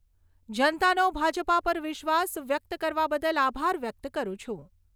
જનતાનો ભાજપા પર વિશ્વાસ વ્યક્ત કરવા બદલ આભાર વ્યક્ત કરું છું.